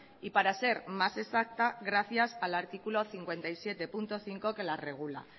y para ser más exacta gracias al artículo cincuenta y siete punto cinco que la regula